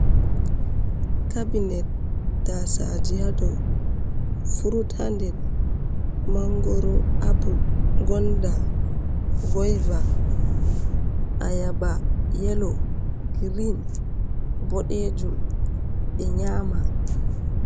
cabinet tasaji hado frut ha nder mangoro, apple, gonda, goyvar, ayaba, yelo, green, bodejum be nyama.